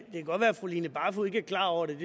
godt være at fru line barfod ikke er klar over det